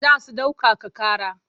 Za su ɗaukaka ƙara.